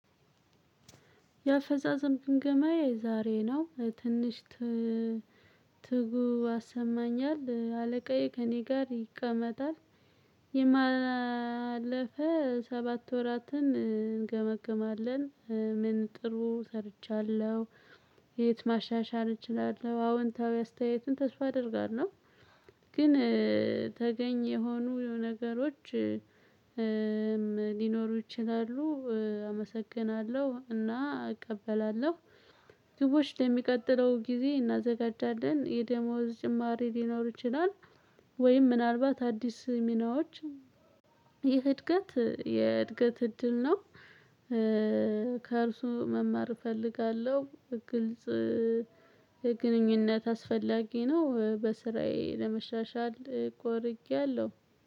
የአፈፃፀም ግምገማየ ዛሬ ነው ትንሽ ትጉ አሰማኛል አለቃዬ ከእኔ ጋር ይቀመጣል የማለፈ ሰባት ወራትን እንገመግማለን። ምን? ጥሩ ሰርቻለሁ የት? ማሻሻል እችላለሁ አዎንታዊ አስተያየትን ተስፋ አደርጋለሁ። ግን ተገኝ የሆኑ ነገሮች ሊኖሩ ይችላሉ። አመሰግናለሁ እና እቀበላለሁ። ግቦች ለሚቀጥለው ጊዜ እናዘጋጃለን የደሞዝ ጭማሪ ሊኖር ይችላል። ወይም ምናልባት አዲስ ሚናዎች። ይህ እድገት የእድገት እድል ነው። ከእርሱ መማር እፈልጋለሁ። ግልጽ ግንኙነት አስፈላጊ ነው። በስራዬ ለመሻሻል ቆርጫለሁ።